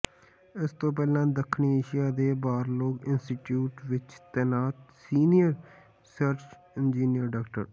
ਇਸ ਤੋਂ ਪਹਿਲਾ ਦੱਖਣੀ ਏਸ਼ੀਆ ਦੇ ਬਾਰਲੋਗ ਇੰਸਟੀਚਿਊਟ ਵਿੱਚ ਤੈਨਾਤ ਸੀਨੀਅਰ ਰਿਸਰਚ ਇੰਜਨੀਅਰ ਡਾ